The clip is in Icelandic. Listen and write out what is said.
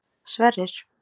Sverrir